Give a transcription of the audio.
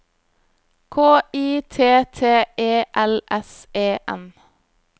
K I T T E L S E N